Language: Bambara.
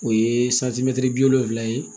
O ye bi wolonwula ye